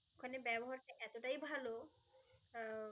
ওখানে ব্যবহার ঠিক এতটাই ভাল, আহ